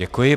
Děkuji.